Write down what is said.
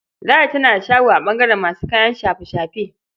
Ladi tana da shago a ɓangaren masu kayan shafe-shafe.